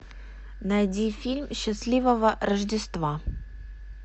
найди фильм счастливого рождества